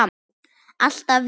Alltaf ég.